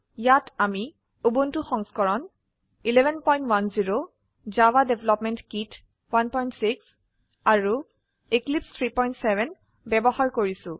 ইয়াত আমি উবুন্টু সংস্কৰণ 1110 জেডিকে 16 আৰু এক্লিপছে 370 ব্যবহাৰ কৰিছো